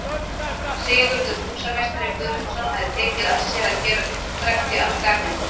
Sigurður húsameistari Guðmundsson hefir tekið að sér að gera uppdrætti að Garðinum.